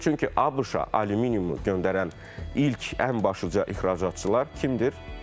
Çünki ABŞ-a alüminiumu göndərən ilk, ən başlıca ixracatçılar kimdir?